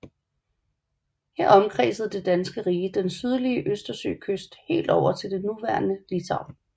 Her omkredsede Det Danske Rige den sydlige østersøkyst helt over til det nuværende Litauen